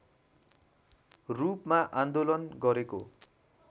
रूपमा आन्दोलन गरेको